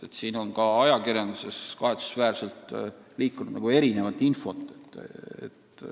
Selle kohta on ka ajakirjanduses liikunud kahetsusväärselt erinevat infot.